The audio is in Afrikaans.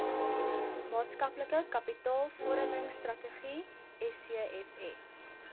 maatskaplike kapitaalvormingstrategie scfs